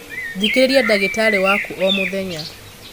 Thikīrīria ndagītarī waku o mūthenya.